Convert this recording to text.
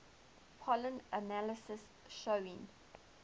pollen analysis showing